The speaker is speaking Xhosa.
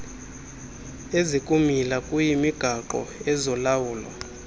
ezikumila kuyimigaqo ezolawulo